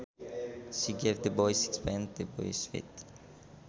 She gave the boy sixpence to buy sweets